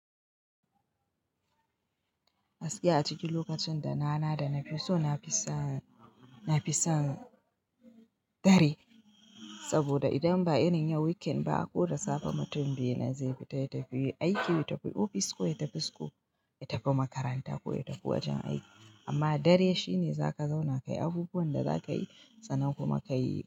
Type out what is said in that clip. Gaskiya a cikin lokacin da na na da na fi so na fi son, na fi son dare saboda idan ba irin yau weekend ba ko da safe mutum biyu na zai fita ya tafi aiki, ya tafi ofis ko ya tafi school, ya tafi makaranta ko ya tafi wajen aiki amma dare shine za ka zauna ka yi abubuwan da za ka yi sannan kuma ka yi.